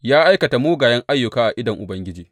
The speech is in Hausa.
Ya aikata mugayen ayyuka a idon Ubangiji.